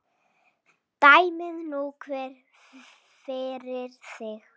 Dæmi nú hver fyrir sig.